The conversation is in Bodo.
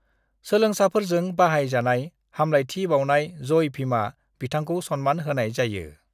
सोलोंसाफोरजों बाहाय जानाय हामलायथि बावनाय जय भीमआ बिथांखौ सनमान होनाय जायो ।